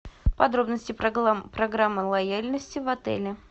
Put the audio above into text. подробности программы лояльности в отеле